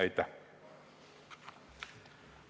Aitäh!